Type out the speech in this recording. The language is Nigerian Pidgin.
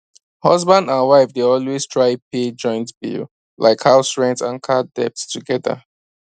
husband and wife dey always try pay joint bill like house rent and card debt togedr